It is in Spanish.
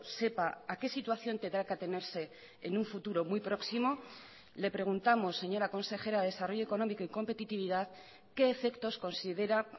sepa a que situación tendrá que atenerse en un futuro muy próximo le preguntamos señora consejera de desarrollo económico y competitividad qué efectos considera